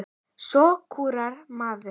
Svo skúrar maður.